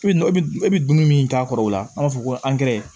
E bɛ dumuni min k'a kɔrɔ o la an b'a fɔ ko